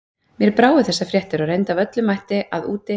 Mér brá við þessar fréttir og reyndi af öllum mætti að úti